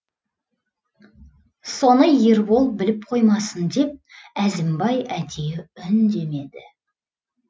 соны ербол біліп қоймасын деп әзімбай әдейі үндемеді